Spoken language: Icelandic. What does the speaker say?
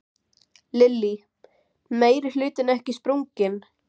Lillý: Meirihlutinn ekki sprunginn?